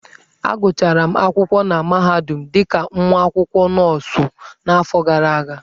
Agụchara m akwụkwọ na mahadum dị ka nwa akwụkwọ nọọsụ n'afọ gara aga.